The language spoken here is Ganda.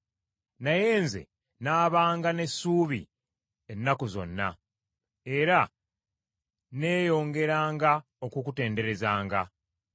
Naye nze nnaabanga n’essuubi ennaku zonna. Era nneeyongeranga okukutenderezanga.